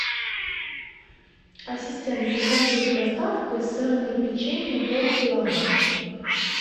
ассистент закажи с доставкой сырное печенье полкилограмма